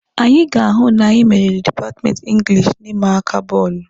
Anyị ga-ahụ na anyị meriri dipatmenti Ingilishi na ịma aka bọọlụ.